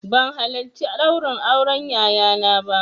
Ban halarci ɗaurin auren yayana ba